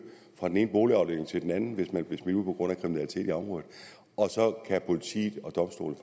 fra den ene boligafdeling til den anden hvis man blev smidt ud på grund af kriminalitet i området og så kan politiet og domstolene